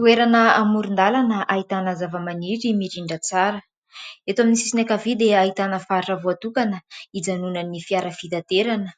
Toerana amoron-dalana ahitana zava-maniry mirindra tsara ; eto amin'ny sisiny akavia dia ahitana faritra voatokana hijanonany fiara fitaterana ;